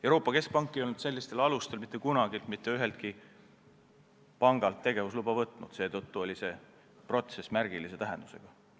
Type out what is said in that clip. Euroopa Keskpank ei olnud sellistel alustel mitte kunagi mitte üheltki pangalt tegevusluba võtnud, seetõttu oli see protsess märgilise tähendusega.